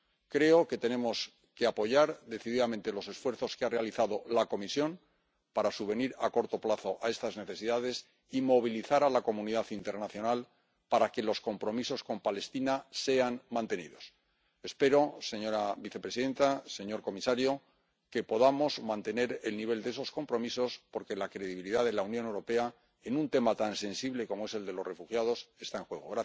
Creo que tenemos que apoyar decididamente los esfuerzos que ha realizado la Comisión para subvenir a corto plazo a estas necesidades y movilizar a la comunidad internacional para que los compromisos con Palestina sean mantenidos. Espero, señora vicepresidenta, señor comisario, que podamos mantener el nivel de esos compromisos porque la credibilidad de la Unión Europea en un tema tan sensible como es el de los refugiados está en juego.